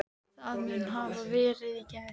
Það mun hafa verið í gær.